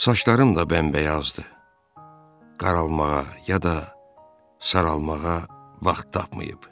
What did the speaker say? Saçlarım da bəmbəyazdır, qaralmağa ya da saralmağa vaxt tapmayıb.